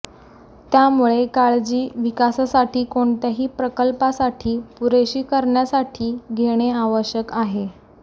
त्यामुळे काळजी विकासासाठी कोणत्याही प्रकल्पासाठी पुरेशी करण्यासाठी घेणे आवश्यक आहे